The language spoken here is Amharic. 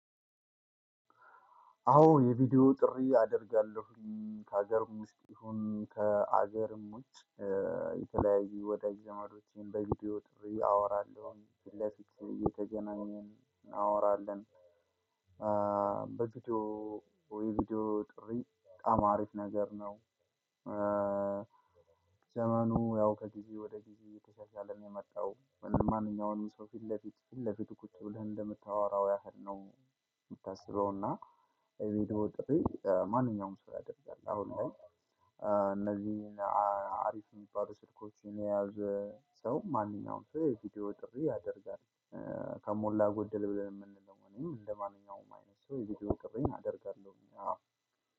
አዎን የቪዲዮ ጥሪ አደርጋለሁኝ ከሀገርም ውስጥ ይሁን ከሀገርም ውጭ የተለያዩ ወዳጅ ዘመዶችን በቪዲዮ ጥሪ አወራለሁኝ ፊለፊት እየተገናኘን እናወራለን በቪዲዮ ወይ ቪዲዮ ጥሪ በጣም አሪፍ ነገር ነው። ዘመኑ ያው ከጊዜ ወደ ጊዜ እተሻሻለ ነው የመጣው፤ ማነኛውንም ሰው ፊት ለፊት ፊት ለፊቱ ቁጭ ብለህ እንደምታወራው ያህል ነው የምታስበው እና የቪዲዮ ጥሪ ማንኛውም ሰው ያደርጋል አሁን ላይ እነዚህ እ አሪፍ የሚባሉ ስልኮችን የያዘ ሰው ማንኛውም ሰው የቪዲዮ ጥሪ ያደርጋል ከሞላ ጎደል ብለን የምንለው እኔም እንደማንኛውም አይነት ሰው የቪዲዮ ጥርዬን አደርጋለሁኝ አዎ።